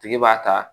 Tigi b'a ta